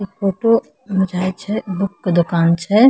इ फोटो बुझाय छै बुक के दुकान छै।